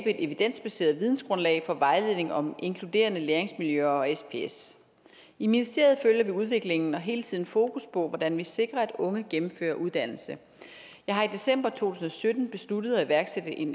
et evidensbaseret vidensgrundlag for vejledning om inkluderende læringsmiljøer og sps i ministeriet følger vi udviklingen og har hele tiden fokus på hvordan vi sikrer at unge gennemfører en uddannelse jeg har i december to tusind og sytten besluttet at iværksætte en